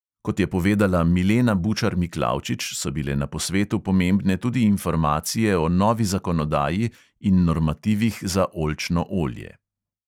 Kot je povedala milena bučar-miklavčič, so bile na posvetu pomembne tudi informacije o novi zakonodaji in normativih za oljčno olje.